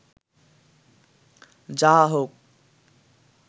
যাহা হউক